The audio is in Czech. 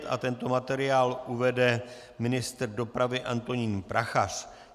Tento materiál uvede ministr dopravy Antonín Prachař.